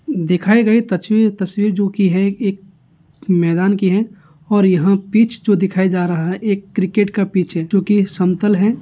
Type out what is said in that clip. दिखाई गयी तस्वीर तस्वीर जो की है एक मैदान की है और यह पिच जो दिखाई जा रहा है एक क्रिकेट का पिच है जो की समतल है।